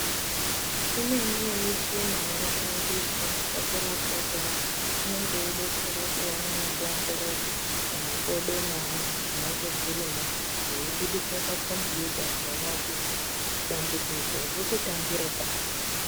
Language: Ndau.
Imweni yemichina inoshandiswa pakurapwa kweantu inenge yeidetsera kuona nekuoongorora mumakodo meantu zvinenge zvirimwo zveibudise pakombiyuta kuona kuti dambudziko rirkutangire pari.